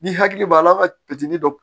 Ni hakili b'a la an ka dɔ